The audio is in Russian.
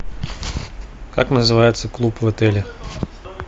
как называется клуб в отеле